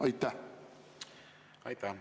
Aitäh!